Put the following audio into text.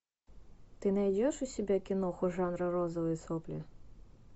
ты найдешь у себя киноху жанра розовые сопли